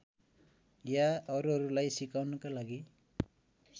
या अरूहरूलाई सिकाउनका लागि